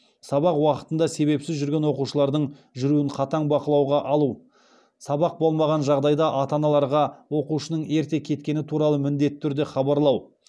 сабақ уақытында себепсіз жүрген оқушылардың жүруін қатаң бақылауға алу сабақ болмаған жағдайда ата аналарға оқушының ерте кеткені туралы міндетті түрде хабарлау